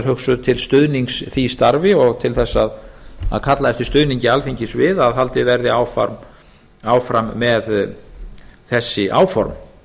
hugsuð til stuðnings því starfi og til þess að kalla eftir stuðningi alþingis við að haldið verði áfram með þessi áform það